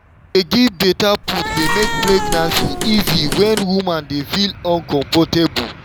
to dey give better food dey make pregnancy easy when woman dey feel uncomfortable.